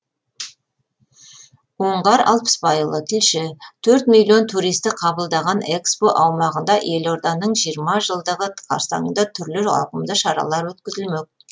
оңғар алпысбайұлы тілші төрт миллион туристі қабылдаған экспо аумағында елорданың жиырма жылдығы қарсаңында түрлі ауқымды шаралар өткізілмек